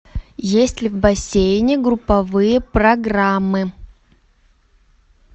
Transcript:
есть ли в бассейне групповые программы